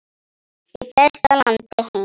Í besta landi heims.